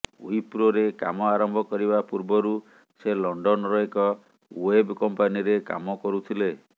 ୱିପ୍ରୋରେ କାମ ଆରମ୍ଭ କରିବା ପୂର୍ବରୁ ସେ ଲଣ୍ଡନର ଏକ ୱେବ୍ କମ୍ପାନୀରେ କାମ କରୁଥିଲେ